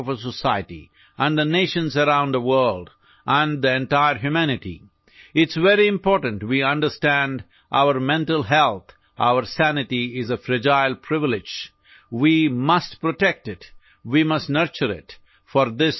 আমি বুজাটো অতি প্ৰয়োজনীয় যে আমাৰ মানসিক স্বাস্থ্য আমাৰ মনৰ ভাৰসাম্য এটা ভংগুৰ বিশেষাধিকাৰ আমি ইয়াক সুৰক্ষিত কৰিব লাগিব আমি ইয়াক লালনপালন কৰিব লাগিব